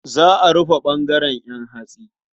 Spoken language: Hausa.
Za a rufe ɓangaren ƴan hatsi.